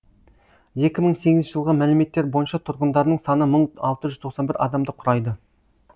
екі мың сегізінші жылғы мәліметтер бойынша тұрғындарының саны бір мың алты жүз тоқсан бір адамды құрайды